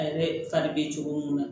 A yɛrɛ fari be cogo mun na